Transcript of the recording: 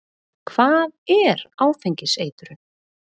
Hvað er áfengiseitrun?